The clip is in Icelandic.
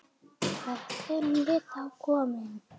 Hvert erum við þá komin?